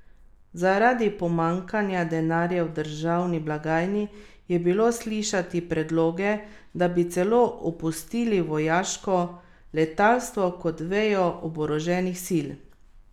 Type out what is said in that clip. Zaradi pomanjkanja denarja v državni blagajni je bilo slišati predloge, da bi celo opustili vojaško letalstvo kot vejo oboroženih sil.